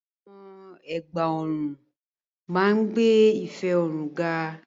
Àwọn ẹ̀gbà ọrùn máa ń gbé ìfẹ́ ọrùn ga.